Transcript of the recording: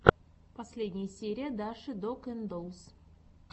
последняя серия даши дог энд доллс